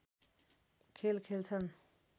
खेल खेल्छन्